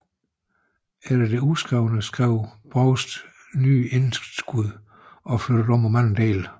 Efter det udskrevne skrev Proust nye indskud og flyttede om på mange dele